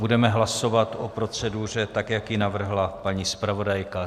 Budeme hlasovat o proceduře tak, jak ji navrhla paní zpravodajka.